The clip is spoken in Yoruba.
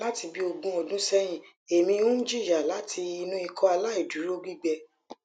lati bi ogun odun sehin emi n jiya lati inu ikọaláìdúró gbigbẹ